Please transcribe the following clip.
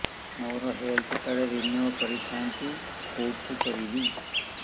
ମୋର health card renew କରିଥାନ୍ତି କୋଉଠି କରିବି